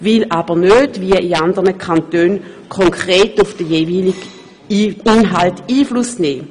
Man möchte dagegen nicht, wie in anderen Kantonen, konkret auf den jeweiligen Inhalt Einfluss nehmen.